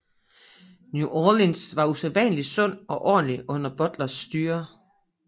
New Orleans var usædvanlig sund og ordentlig under Butlers styre